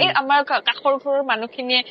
এই আমৰ কাখৰ ঘৰৰ মানুহ খিনিয়ে